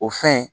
O fɛn